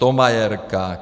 Thomayerka.